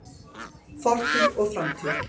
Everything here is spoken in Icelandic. Fortíð og framtíð.